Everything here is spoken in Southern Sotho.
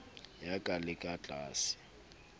ya ka le ka tlasa